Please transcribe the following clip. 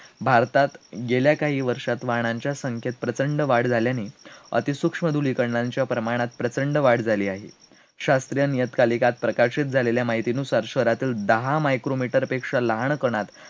भारतात गेल्या काही वर्षात वाहनांच्या संख्येत प्रचंड वाढ झाल्याने, अतिसूक्ष्म धुलीकणांच्या प्रमाणात प्रचंड वाढ झाली आहे, शास्त्रीय नियतकालिकांत प्रकाशित झालेल्या माहितीनुसार शहरातील दहा मायक्रोमीटर पेक्षा लहान कणांत